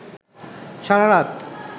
সারা রাত